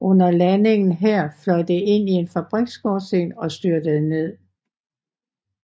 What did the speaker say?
Under landingen her fløj det ind i en fabriksskorsten og styrtede ned